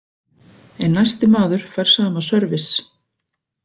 En næsti maður fær sama sörvis.